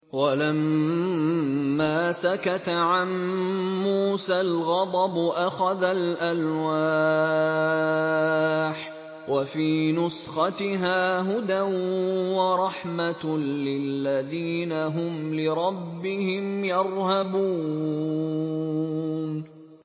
وَلَمَّا سَكَتَ عَن مُّوسَى الْغَضَبُ أَخَذَ الْأَلْوَاحَ ۖ وَفِي نُسْخَتِهَا هُدًى وَرَحْمَةٌ لِّلَّذِينَ هُمْ لِرَبِّهِمْ يَرْهَبُونَ